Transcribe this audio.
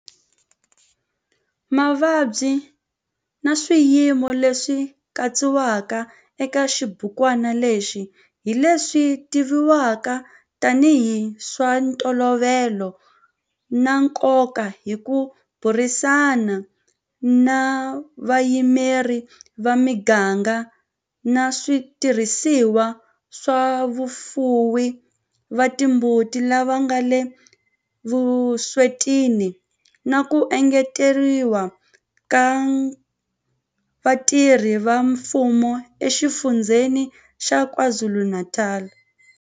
Mavabyi na swiyimo leswi katsiwaka eka xibukwana lexi hi leswi tivivwaka tanihi hi swa ntolovelo na nkoka hi ku burisana na vayimeri va miganga na switirhisiwa swa vafuwi va timbuti lava nga le vuswetini na ku engeteriwa ka vatirhi va mfumo eXifundzheni xa KwaZulu-Natal.